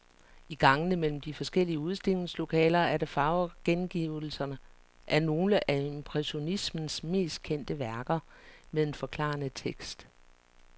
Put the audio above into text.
I gangene mellem de forskellige udstillingslokaler er der farvegengivelser af nogle af impressionismens mest kendte værker med en forklarende tekst.